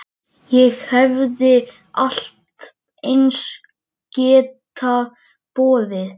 Sjálft nafnið á þér bendir til þess konar skyldleika.